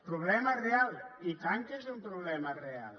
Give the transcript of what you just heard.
problema real i tant que és un problema real